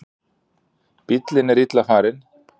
Bíllinn er illa farinn